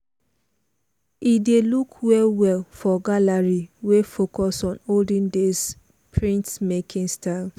he dey look well well for gallery wey focus on olden days printmaking style.